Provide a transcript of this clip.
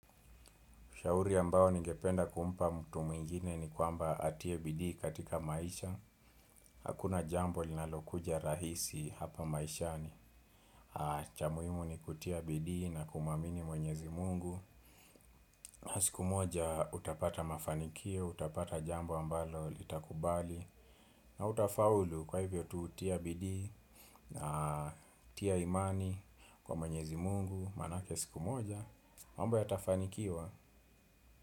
Ushauri ambao ningependa kumpa mtu mwingine ni kwamba atie bidii katika maisha. Hakuna jambo linalokuja rahisi hapa maishani. Cha muhimu ni kutia bidii na kumwamini Mwenyezi Mungu. Siku moja utapata mafanikio, utapata jambo ambalo litakubali. Na utafaulu kwa hivyo tu tia bidii na utia imani kwa mwenyezi mungu. Manake siku moja, mambo yatafanikiwa.